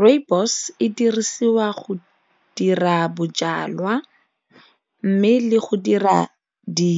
Rooibos e dirisiwa go dira bojalwa mme le go dira di